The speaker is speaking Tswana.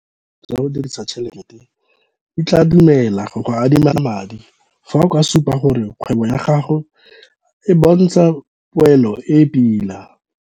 Dithulaganyo tsa go dirisa tšhelete di tlaa dumela go go adima madi fa o ka supa gore kgwebo ya gago a bontsha poelo e e pila.